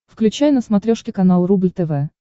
включай на смотрешке канал рубль тв